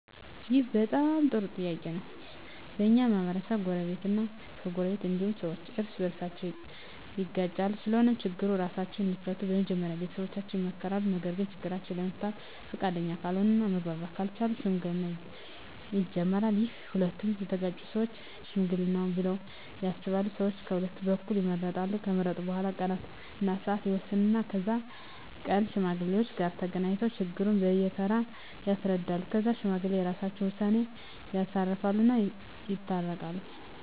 ይህ በጣም ጥሩ ጥያቄ ነው በኛ ማህበረሰብ በጎረቤት እ በጎረቤት እንዲሁም ሠዎች እርስ በርሳቸው ይጋጫሉ ስለሆነም ችግሩን እራሳቸው እንዲፈቱ መጀመሪያ ቤተሠቦቻቸው ይመከራሉ ነገርግ ችግራቸውን ለመፍታት ፈቃደኛ ካልሆነ እና መግባባት ካልቻሉ ሽምግልና ይጀመራል ይህም ሁለቱ የተጋጩ ሠወች ይሽመግሉናል ብለው ያሠቡትን ሠዎች ቀሁለቱ በኩል ይመርጣሉ ከመረጡ በኋላ ቀን እና ስዓት ይወስኑ እና በዛ ቀን ከሽማግሌዎች ጋር ተገናኝተው ችግሩን በየ ተራ ያስረዳሉ ከዛ ሽማግሌዎች የራሰቸውን ውሳኔ ያሳርፉ እና ይታረቃሉ